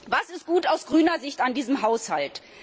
Was ist aus grüner Sicht gut an diesem Haushalt?